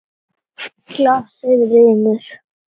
Svínið rymur.